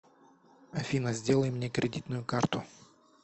афина сделай мне кредитную карту